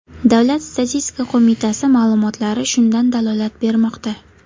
Davlat statistika qo‘mitasi ma’lumotlari shundan dalolat bermoqda .